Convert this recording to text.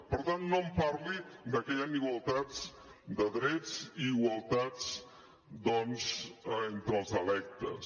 per tant no em parli de que hi han igualtats de drets i igualtats doncs entre els electes